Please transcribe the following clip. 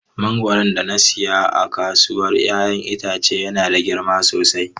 Mangoron da na saya a kasuwar 'ya'yan itace yana da girma sosai.